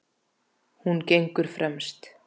Hún gengur fremst.